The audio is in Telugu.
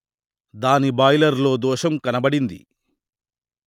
దాని బాయిలర్ లో దోషం కనబడింది